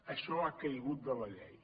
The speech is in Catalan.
això ha caigut de la llei